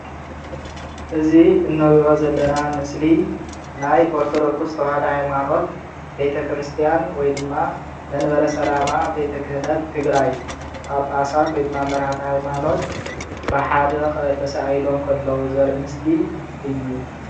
እዚ እንሪኦ ዘለና ምሰሊ ናይ ኦርቶዶክስ ተዋህዶ ሃይማኖት ቤተ ክርስትያን ወይ ድማ መንበረ ሰላማ ቤተ ክህነት ትግራይ ጳጳሳት ወይ ድማ መራሕቲ ሃይማኖት ብሓደ ተሳኢሎም ከለው ዘርኢ ምስሊ እዩ፡፡